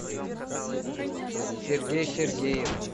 сергей сергеев